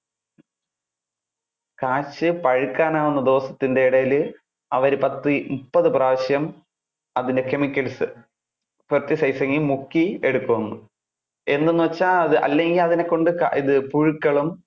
പഴുക്കാൻ ആകുന്ന ദിവസത്തിന്‍ടെ ഇടയില്, അവര് പത്തു മുപ്പതു പ്രാവശ്യം, അതിന്‍ടെ chemicals, pesticising മുക്കി എടുക്കും എന്ന്. എന്താണ് എന്ന് വെച്ചാൽ, അത് അല്ലെങ്കിൽ അതിനെ കൊണ്ട് ആഹ് പുഴുക്കളും,